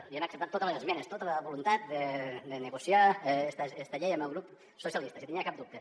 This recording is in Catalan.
li hem acceptat totes les esmenes tota la voluntat de negociar esta llei amb el grup socialistes si en tenia cap dubte